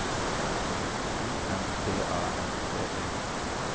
O M T A L T E